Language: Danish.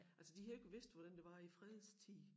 Altså de havde jo ikke vidst hvordan det var i fredstid